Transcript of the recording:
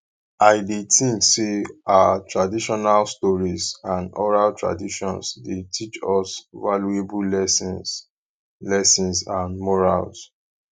i dey think say our traditional stories and oral traditions dey teach us valuable lessons lessons and morals